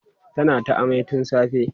tana ta amai tun safe